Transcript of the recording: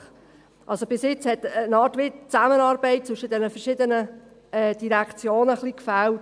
Bisher hat die Zusammenarbeit zwischen den verschiedenen Direktionen gewissermassen ein wenig gefehlt.